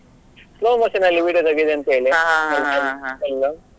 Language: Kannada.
Slow motion ಅಲ್ಲಿ video ತೆಗಿಯುದು ಅಂತೇಳಿ ಎಲ್ಲಾ.